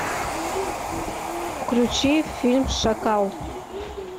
включи фильм шакал